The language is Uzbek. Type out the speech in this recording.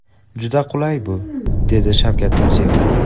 Juda qulay bu”, dedi Shavkat Mirziyoyev.